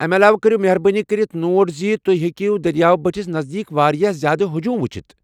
امہ علاوٕ کٔرو مہربٲنی کٔرتھ نوٹ ز تُہۍ ہیکو دٔریاو بٔٹھس نزدیٖک واریاہ زیادٕ ہجوم ؤچِھتھ ۔